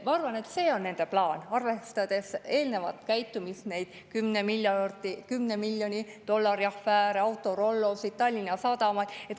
Ma arvan, et see on nende plaan, arvestades eelnevat käitumist, 10 miljoni dollari afääri, Autorollot, Tallinna Sadamat.